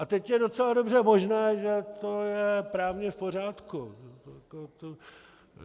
A teď je docela dobře možné, že to je právně v pořádku.